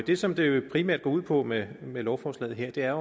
det som det jo primært går ud på med lovforslaget her er